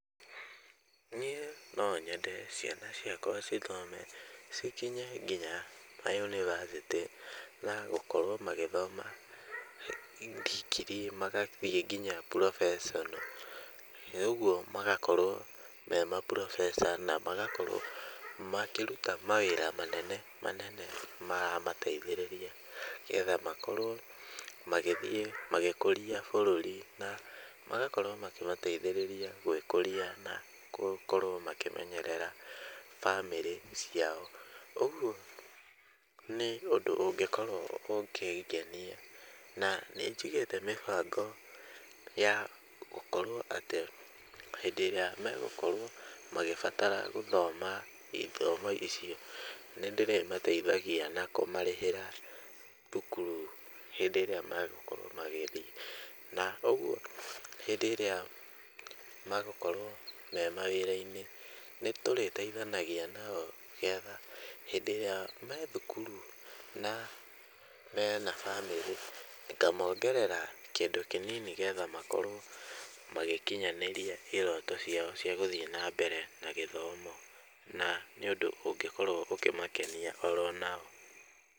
Niĩ no nyende ciana ciakwa cithome cikinye kinya mayunibacĩtĩ na gũkorwo magĩthoma ndigirii magathiĩ nginya professional ĩ ũguo magakorwo me ma professor na magakorwo makĩruta mawĩra manene manene maramateithĩrĩria getha makorwo magĩthiĩ magĩkũria bũrũrĩ na magakorwo magĩteithĩrĩria kũkorwo makĩmenyerera bamĩrĩ ciao, ũguo nĩ ũndũ ũngĩkorwo ũkĩngenia na nĩnjigĩte mĩbango ya gũkorwo atĩ hĩndĩ ĩrĩa megũkorwo magĩbatara gũthoma ithomo icio nĩndĩrĩmateithagia na kũmarĩhĩra thukuru hĩndĩ ĩrĩa magũkorwo magĩthiĩ na ũguo hĩndĩ ĩrĩa magũkorwo me mawĩra-inĩ nĩtũrĩteithanagia nao getha hĩndĩ ĩrĩa me thukuru na mena bamĩrĩ ngamongerera kĩndũ kĩnini getha makorwo magĩkinyanĩria iroto ciao cia gũthiĩ na mbere na gĩthomo na nĩ ũndũ ũngĩkorwo ũkĩmakenia oronao.